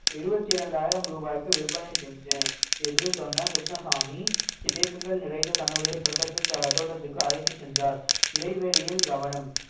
எழுபத்து இரண்டாயிரம் ரூபாய்க்கு விற்பனை செஞ்சேன் என்று சொன்ன கிருஷ்ணசாமி தேக்குகள் நிறைந்த தன்னுடைய தோட்டத்திற்கு தோட்டத்திற்கு அழைத்துச் சென்றார் இடைவெளியில் கவனம்